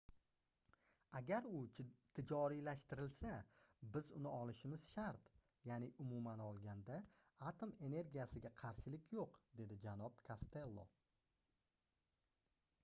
agar u tijoriylashtirilsa biz uni olishimiz shart yaʼni umuman olganda atom energiyasiga qarshilik yoʻq - dedi janob kostello